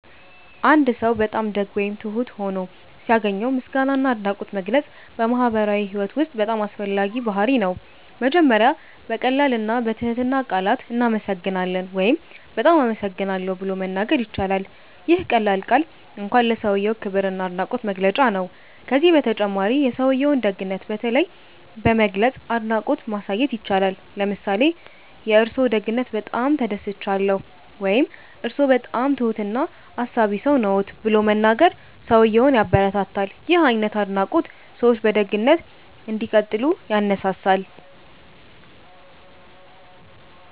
አንድ ሰው በጣም ደግ ወይም ትሁት ሆኖ ሲያገኘው ምስጋና እና አድናቆት መግለጽ በማህበራዊ ህይወት ውስጥ በጣም አስፈላጊ ባህርይ ነው። መጀመሪያ በቀላል እና በትህትና ቃላት “እናመሰግናለን” ወይም “በጣም አመሰግናለሁ” ብሎ መናገር ይቻላል። ይህ ቀላል ቃል እንኳን ለሰውዬው ክብር እና አድናቆት መግለጫ ነው። ከዚህ በተጨማሪ የሰውዬውን ደግነት በተለይ በመግለጽ አድናቆት ማሳየት ይቻላል። ለምሳሌ “የእርስዎ ደግነት በጣም ተደስቻለሁ” ወይም “እርስዎ በጣም ትሁት እና አሳቢ ሰው ነዎት” ብሎ መናገር ሰውዬውን ያበረታታል። ይህ አይነት አድናቆት ሰዎች በደግነት እንዲቀጥሉ ያነሳሳል።